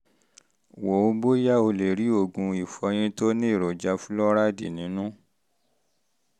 wo bóyá o lè um rí oògùn ìfọyín tó ní èròjà um fúlọ́ráìdì um nínú